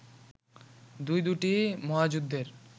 দুই-দুটি মহাযুদ্ধের